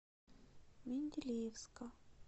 менделеевска